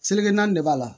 Seleke naani de b'a la